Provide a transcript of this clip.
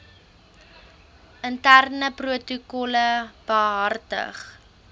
interne protokolle behartig